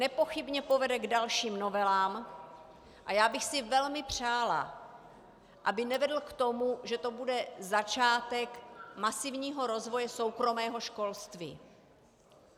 Nepochybně povede k dalším novelám a já bych si velmi přála, aby nevedl k tomu, že to bude začátek masivního rozvoje soukromého školství.